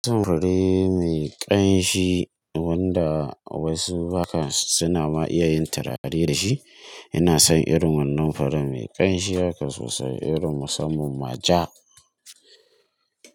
Tum fure mai ƙanshi, wanda wasu hakan suna ma iya yin turare da shi, ina son irin wannan furen mai ƙanshi haka sosai, irin musamman ma ja.